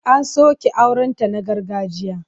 An soke aurenta na gargajiya.